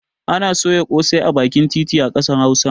Ana soya ƙosai a bakin titi a ƙasar hausa